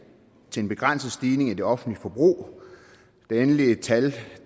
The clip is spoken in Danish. til en begrænset stigning i det offentlige forbrug det endelige tal